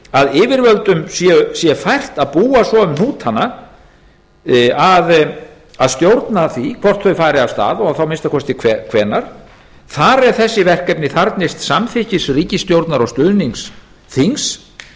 að yfirvöldum sé fært að búa svo um hnútana að stjórna því hvort þau fari af stað og þá að minnsta kosti hvenær þar eð þessi verkefni þarfnist samþykkis ríkisstjórnar og stuðnings þings